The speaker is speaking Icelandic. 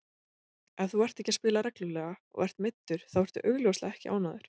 Ef þú ert ekki að spila reglulega og ert meiddur þá ertu augljóslega ekki ánægður.